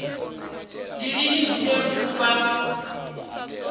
ndi lini hune lufu lwa